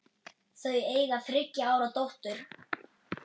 Þau eiga þriggja ára dóttur.